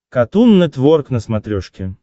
катун нетворк на смотрешке